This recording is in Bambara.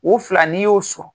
O fila n'i y'o sɔrɔ.